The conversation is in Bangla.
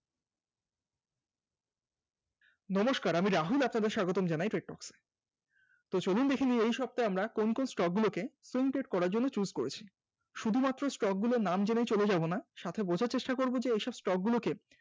নমস্কার আমি রাহুল আপনাদের স্বাগত জানাই।